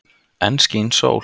Enn skín sól.